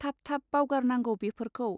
थाब थाब बावगार नांगौ बेफोरखौ.